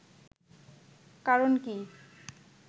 কারণ কী